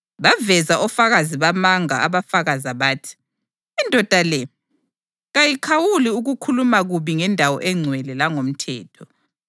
Baveza ofakazi bamanga abafakaza bathi, “Indoda le kayikhawuli ukukhuluma kubi ngendawo engcwele langomthetho.